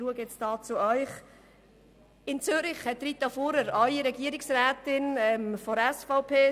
In Zürich war Rita Fuhrer bis 2010 Regierungsrätin der SVP.